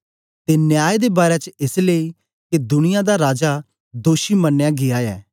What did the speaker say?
ते न्याय दे बारै च एस लेई के दुनिया दा राजा दोषी मनया गीया ऐ